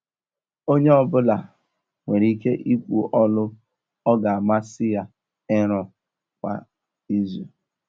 Onye ọ bụla nwere ike ikwu ọlụ ọ ga amasị ya ịrụ kwa izu.